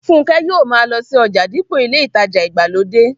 Fúnkẹ́ yóò ma lọ sí ọjà dípò ilé ìtajà ìgbàlódé